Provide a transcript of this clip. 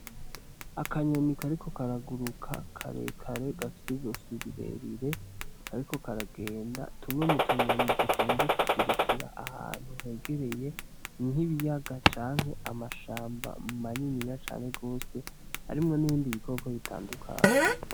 Akanyoni kariko karaguruka karekare gafise izosi rirerire kariko karagenda, tumwe mu tunyoni dukunze kugurukira ahantu hegereye nk'ikibiyaga canke amashamba maniniya cane gose arimwo n'ibindi bikoko bitandukanye.